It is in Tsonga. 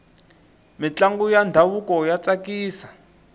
mintlangu ya ndhavuko ya tsakisa